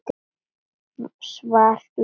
Svar: Laufið.